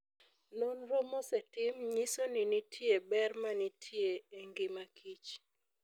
Nonro mosetim nyiso ni nitie ber ma nitie e ngima kich.